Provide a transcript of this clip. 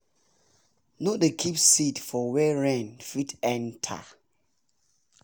no dey keep seed for wer rain fit enter